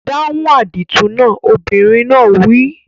Dáhùn àdìtú náà! Obìnrin náà wí.